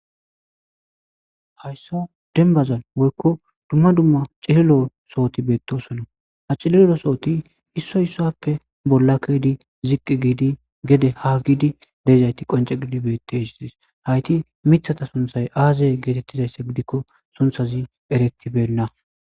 hayssa denbazan woykko dumma dumma cililoo sohoti beettosona ha cililo sohoti issoy issappe bollakkedi ziqqi giidi gede ha gidi deezayti qonce gidi beetes dis hayti mithata sunthay aazay geetettizayssa gidikko sunthazi eretibenna